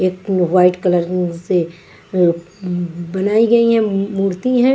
एक white colour से ब-बनाई गई हैं मूर्ति है।